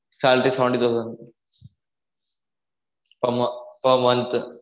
salary seventeen thousand per mo per month